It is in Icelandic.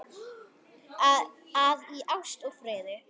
að í ást og friði